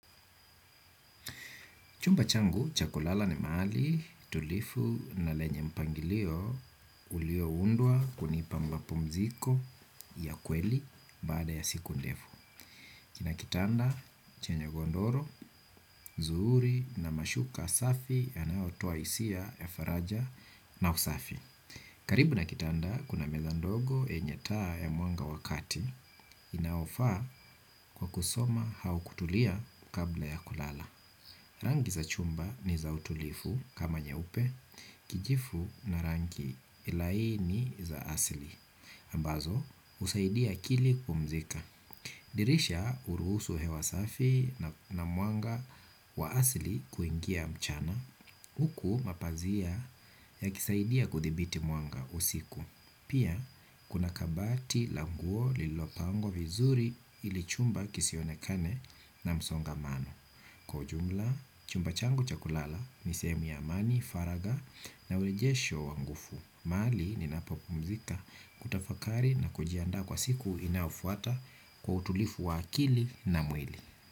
Chumba changu, cha kulala ni mahali, tulivu na lenye mpangilio, ulioundwa kunipa mapumziko ya kweli baada ya siku ndefu. Kina kitanda, chenye godoro, nzuri na mashuka safi yanayotoa hisia ya faraja na usafi. Karibu na kitanda, kuna meza ndogo yenye taa ya mwanga wa kati, inaofaa kwa kusoma au kutulia kabla ya kulala. Rangi za chumba ni za utulivu kama nyeupe, kijivu na rangi laini za asili. Ambazo, husaidia akili kupumzika. Dirisha huruhusu hewa safi na mwanga wa asili kuingia mchana. Huku mapazia yakisaidia kuthibiti mwanga usiku. Pia, kuna kabati la nguo lililopangwa vizuri hili chumba kisionekane na msongamano. Kwa ujumla, chumba changu cha kulala, ni sehemu ya amani, faraga na urejesho wa nguvu. Mahali ninapopumzika kutafakari na kujiandaa kwa siku inayofuata kwa utulivu wa akili na mwili.